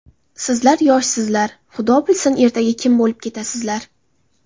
Sizlar yoshsizlar, xudo bilsin ertaga kim bo‘lib ketasizlar?